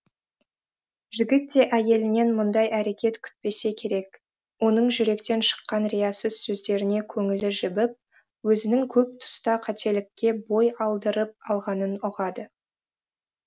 жігіт те әйелінен мұндай әрекет күтпесе керек оның жүректен шыққан риясыз сөздеріне көңілі жібіп өзінің көп тұста қателікке бой алдырып алғанын ұғады